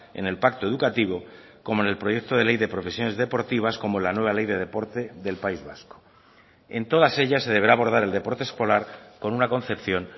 en el pacto educativo como en el proyecto de ley de profesiones deportivas como la nueva ley de deporte del país vasco en todas ellas se deberá abordar el deporte escolar con una concepción